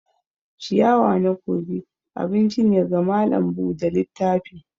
ciyawa na kogi abinci ne ga malam Bude littafi.